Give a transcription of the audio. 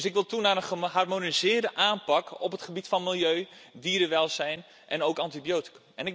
Ik wil dus toe naar een geharmoniseerde aanpak op het gebied van milieu, dierenwelzijn en ook antibioticum.